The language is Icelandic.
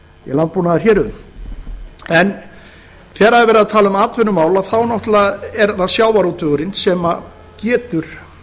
landbúnaðarhéruðum þegar er verið að tala auka atvinnumál þá náttúrlega er það sjávarútvegurinn sem getur